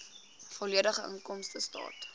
volledige inkomstestaat